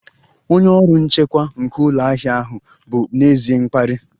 Onye ọrụ nchekwa nke ụlọ ahịa ahụ bụ n'ezie mkparị